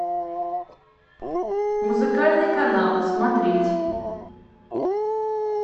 музыкальный канал смотреть